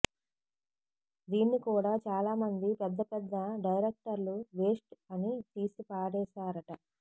దీన్ని కూడా చాలామంది పెద్ద పెద్ద డైరక్టర్లు వేస్ట్ అని తీసిపాడేశారట